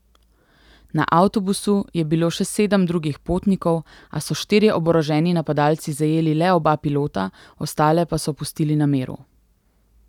Na avtobusu je bilo še sedem drugih potnikov, a so štirje oboroženi napadalci zajeli le oba pilota, ostale pa so pustili na miru.